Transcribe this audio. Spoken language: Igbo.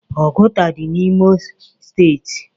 Ọgụta dị n'imo steeti.